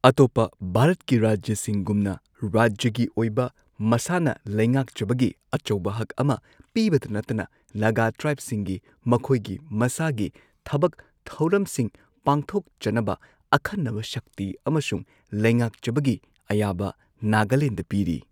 ꯑꯇꯣꯞꯄ ꯚꯥꯔꯠꯀꯤ ꯔꯥꯖ꯭ꯌꯁꯤꯡꯒꯨꯝꯅ ꯔꯥꯖ꯭ꯌꯒꯤ ꯑꯣꯏꯕ ꯃꯁꯥꯅ ꯂꯩꯉꯥꯛꯆꯕꯒꯤ ꯑꯆꯧꯕ ꯍꯛ ꯑꯃ ꯄꯤꯕꯇ ꯅꯠꯇꯅ ꯅꯥꯒꯥ ꯇ꯭ꯔꯥꯏꯕꯁꯤꯡꯒꯤ ꯃꯈꯣꯏꯒꯤ ꯃꯁꯥꯒꯤ ꯊꯕꯛ ꯊꯧꯔꯝꯁꯤꯡ ꯄꯥꯡꯊꯣꯛꯆꯅꯕ ꯑꯈꯟꯅꯕ ꯁꯛꯇꯤ ꯑꯃꯁꯨꯡ ꯂꯩꯉꯥꯛꯆꯕꯒꯤ ꯑꯌꯥꯕ ꯅꯥꯒꯥꯂꯦꯟꯗ ꯄꯤꯔꯤ ꯫